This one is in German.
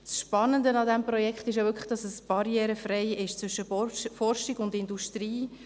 Das Spannende an diesem Projekt ist wirklich, dass es barrierefrei ist zwischen Forschung und Industrie.